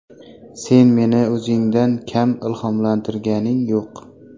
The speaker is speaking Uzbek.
Sen meni o‘zingdan kam ilhomlantirganing yo‘q.